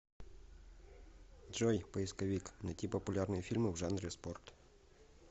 джой поисковик найти популярные фильмы в жанре спорт